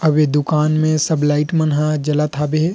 अबे दुकान में सब लाइट मन ह जलत हाबे हे।